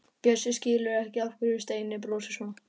Bjössi skilur ekki af hverju Steini brosir svona.